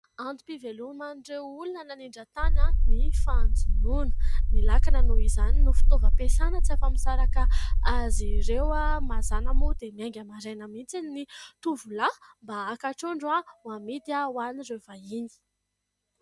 Antom-piveloman'ireo olona any anindran-tany ny fanjonona ; ny lakana noho izany no fitaovam-piasana tsy afa-misaraka azy ireo. Mazana moa dia miainga maraina mihitsy ny tovolahy mba haka trondro ho amidy ho an'ireo vahiny.